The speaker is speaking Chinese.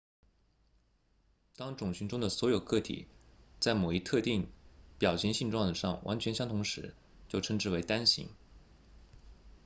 当种群中的所有个体在某一特定表型性状上完全相同时就称之为单型